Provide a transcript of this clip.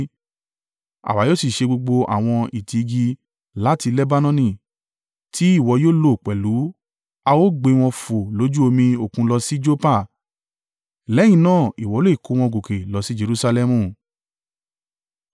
Àwa yóò sì gé gbogbo àwọn ìtí igi láti Lebanoni tí ìwọ yóò lò pẹ̀lú a ó gbé wọn fò lójú omi òkun lọ sí Joppa. Lẹ́yìn náà ìwọ lè kó wọn gòkè lọ sí Jerusalẹmu.”